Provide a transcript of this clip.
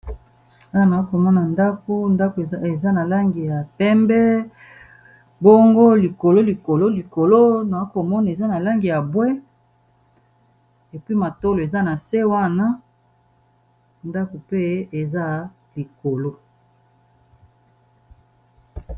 Awa nakomona ndako, ndako eza na langi ya pembe bongo likolo likolo likolo na komona eza na langi ya mbwe puis matolo eza na se wana ndako pe eza likolo.